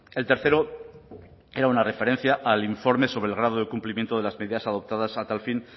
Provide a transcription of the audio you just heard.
el tercero era una referencia al informe sobre el grado de cumplimiento de las medidas adoptadas a tal fin